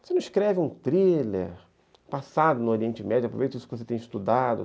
Você não escreve um thriller passado no Oriente Médio, aproveita isso que você tem estudado.